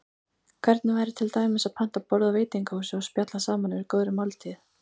Hvernig væri til dæmis að panta borð á veitingahúsi og spjalla saman yfir góðri máltíð?